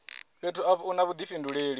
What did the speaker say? fhethu afho u na vhudifhinduleli